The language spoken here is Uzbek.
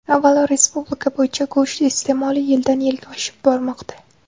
Avvalo, respublika bo‘yicha go‘sht iste’moli yildan-yilga oshib bormoqda.